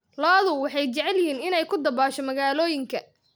Lo'du waxay jecel yihiin inay ku dabaasho magaalooyinka.